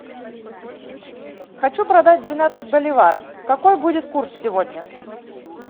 хочу продать двенадцать боливаров какой будет курс сегодня